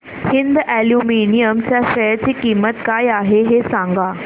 Hind aluminium च्या share ची किंमत काय आहे हे सांगा